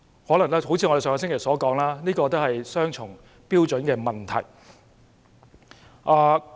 可能正如我們上星期所說，這涉及他們雙重標準的問題。